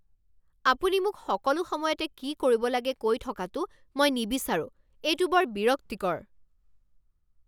আপুনি মোক সকলো সময়তে কি কৰিব লাগে কৈ থকাটো মই নিবিচাৰোঁ। এইটো বৰ বিৰক্তিকৰ।